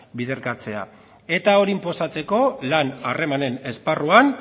biderkatzea eta hori inposatzeko lan harremanen esparruan